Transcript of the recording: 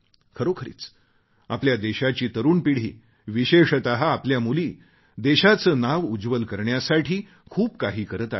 खरोखरीच आपल्या देशाची तरुण पिढी विशेषत आपल्या मुली देशाचे नाव उज्ज्वल करण्यासाठी खूप काही करत आहेत